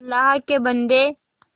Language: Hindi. अल्लाह के बन्दे